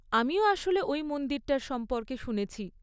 আমিও আসলে ওই মন্দিরটার সম্পর্কে শুনেছি।